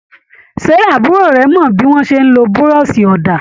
Ṣé àbúrò rẹ̀ mọ bí wọ́n ṣe ń lo buroṣi òdà?